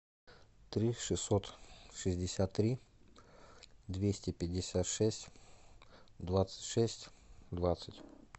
три шестьсот шестьдесят три двести пятьдесят шесть двадцать шесть двадцать